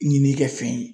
Ɲini kɛ fɛn ye